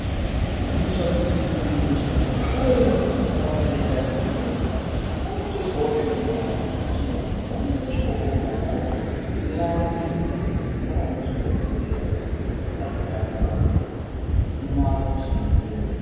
Kuitira kuti pachibhedleya pave pasaite mhirizhonga, panotoiswawo pekugara pekuti anhu vanotosvikawo vogarawo zvisina musindo vakamirira dhogodhera kuti agokwanisa kuvawona zvisina musindo.